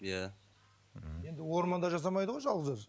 иә енді орманда жасамайды ғой жалғыз өзі